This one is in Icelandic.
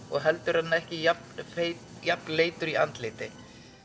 og heldur er hann ekki jafnleitur í andliti